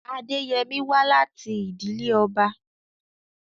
Adeyemi wá láti ìdílé ọba.